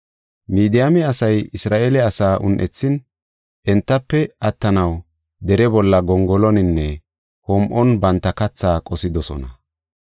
Midiyaame asay Isra7eele asaa un7ethin, entafe attanaw dere bolla, gongoloninne hom7on banta katha qosidosona.